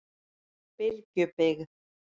Bylgjubyggð